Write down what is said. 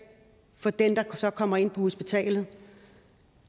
for den der kommer ind på hospitalet og